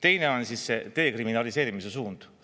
Teine on see dekriminaliseerimise suund.